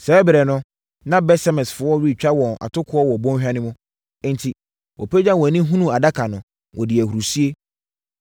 Saa ɛberɛ no, na Bet-Semesfoɔ retwa wɔn atokoɔ wɔ bɔnhwa no mu. Enti, wɔpagyaa wɔn ani hunuu Adaka no, wɔdii ahurisie.